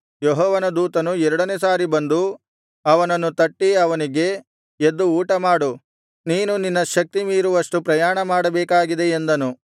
ಯೆಹೋವನ ದೂತನು ಎರಡನೆಯ ಸಾರಿ ಬಂದು ಅವನನ್ನು ತಟ್ಟಿ ಅವನಿಗೆ ಎದ್ದು ಊಟ ಮಾಡು ನೀನು ನಿನ್ನ ಶಕ್ತಿ ಮೀರುವಷ್ಟು ಪ್ರಯಾಣಮಾಡಬೇಕಾಗಿದೆ ಎಂದನು